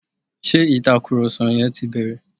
Ṣé Ìtàkùrọ̀sọ yẹn ti bẹ̀rẹ̀?